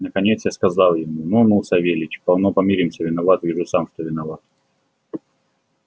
наконец я сказал ему ну ну савельич полно помиримся виноват вижу сам что виноват